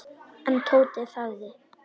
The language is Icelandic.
En Tóti þagði.